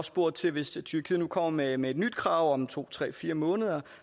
spurgt til hvis tyrkiet nu kommer med med et nyt krav om to tre fire måneder